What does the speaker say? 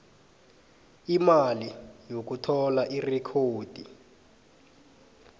imali yokuthola irekhodi